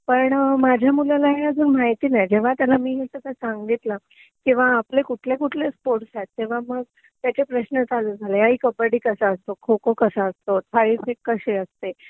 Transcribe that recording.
पण माझ्या मुलाला हे अजून माहिती नाही जेंव्हा त्याला मी हे सगळं सांगितलं किंवा आपले कुठले कुठले स्पोर्ट्स आहे तेंव्हा मग त्याचे प्रश्न चालू झाले आई कब्बडी कसा असतो खो खो कसा असतो थाळीफेक कशी असते